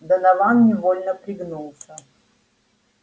донован невольно пригнулся